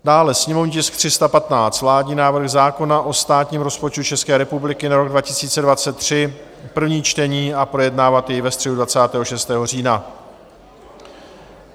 dále sněmovní tisk 315, vládní návrh zákona o státním rozpočtu České republiky na rok 2023, první čtení, a projednávat jej ve středu 26. října.